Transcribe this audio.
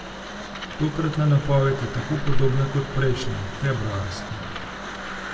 Tokratna napoved je tako podobna kot prejšnja, februarska.